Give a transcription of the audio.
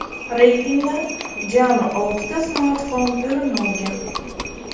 Reytingdan jami oltita smartfon o‘rin olgan.